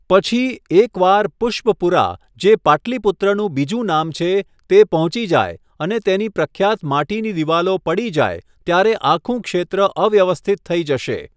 પછી, એક વાર પુષ્પપુરા, જે પાટલીપુત્રનું બીજું નામ છે, તે પહોંચી જાય અને તેની પ્રખ્યાત માટીની દિવાલો પડી જાય, ત્યારે આખું ક્ષેત્ર અવ્યવસ્થિત થઈ જશે.